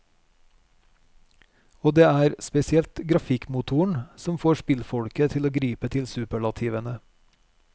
Og det er spesielt grafikkmotoren som får spillfolket til å gripe til superlativene.